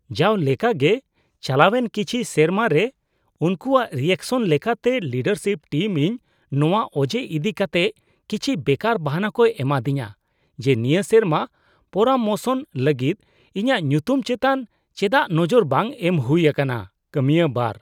ᱡᱟᱣ ᱞᱮᱠᱟᱜᱮ ᱪᱟᱞᱟᱣᱮᱱ ᱠᱤᱪᱷᱤ ᱥᱮᱨᱢᱟ ᱨᱮ ᱩᱱᱠᱩᱣᱟᱜ ᱨᱤᱭᱟᱠᱥᱚᱱ ᱞᱮᱠᱟᱛᱮ, ᱞᱤᱰᱟᱨᱥᱤᱯ ᱴᱤᱢ ᱤᱧ ᱱᱚᱣᱟ ᱚᱡᱮ ᱤᱫᱤ ᱠᱟᱛᱮᱜ ᱠᱤᱪᱷᱤ ᱵᱮᱠᱟᱨ ᱵᱟᱦᱟᱱᱟ ᱠᱚ ᱮᱢᱟᱫᱤᱧᱟᱹ ᱡᱮ ᱱᱤᱭᱟᱹ ᱥᱮᱨᱢᱟ ᱯᱚᱨᱟᱢᱚᱥᱚᱱ ᱞᱟᱹᱜᱤᱫ ᱤᱧᱟᱹᱜ ᱧᱩᱛᱩᱢ ᱪᱮᱛᱟᱱ ᱮᱪᱰᱟᱜ ᱱᱚᱡᱚᱨ ᱵᱟᱝ ᱮᱢ ᱦᱩᱭ ᱟᱠᱟᱱᱟ ᱾ (ᱠᱟᱹᱢᱤᱭᱟᱹ ᱒)